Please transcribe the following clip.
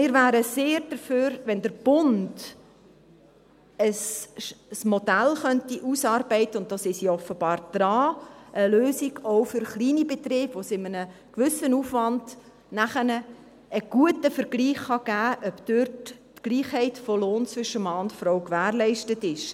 – Wir wären also sehr dafür, wenn der Bund ein Modell ausarbeiten könnte – und da ist man offenbar daran –, eine Lösung auch für kleine Betriebe, bei der es bei einem gewissen Aufwand nachher einen guten Vergleich geben kann, ob die Gleichheit des Lohns zwischen Mann und Frau gewährleistet ist.